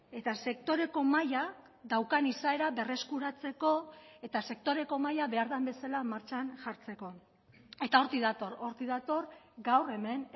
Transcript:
eta sektoreko mahaia daukan izaera berreskuratzeko eta sektoreko mahaia behar den bezala martxan jartzeko eta hortik dator hortik dator gaur hemen